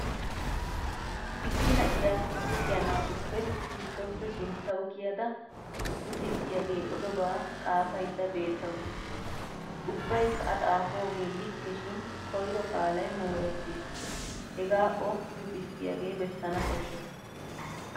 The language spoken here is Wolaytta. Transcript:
Issi na'iyaa luxiya naatuppe giddoppe sinttawu kiyada luxissiyaagee odobaa xaafaydda beettawusu. Ubbaykka a xaafoogee likke shin koyro qaalay moorettis hegaa o luxissiyaagee bessana koshshes.